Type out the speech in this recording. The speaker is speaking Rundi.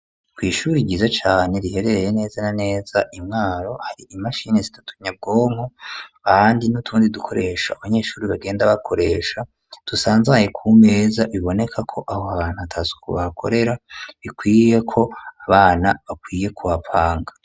Kw'ishure ryiza cane riherereye neza na neza imwaro hari imashini zitatu nyabwonko ahandi n'utundi dukoresho abanyeshure bagenda bakoresha tusanzaye ku meza bibonekako abo bantu atasuku bahakorera bikwiyeko abana bakwiye kuhapanga.